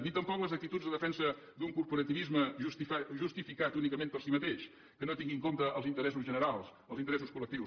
ni tampoc les actituds de defensa d’un corporativisme justificat únicament per si mateix que no tingui en compte els interessos generals els interessos collectius